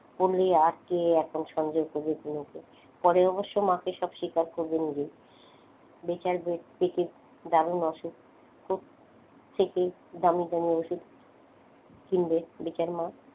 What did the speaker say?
পড়লে আটকে পরে অবশ্য মাকে সব স্বীকার করবে নিজেই বেচার দারুণ অসুখ খুব থেকেই দামি দামি ওষুধ কিনবে বেচার মা।